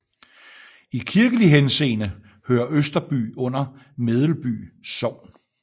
I kirkelig henseende hører Østerby under Medelby Sogn